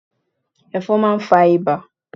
Ẹ̀fọn máa ń fa ibà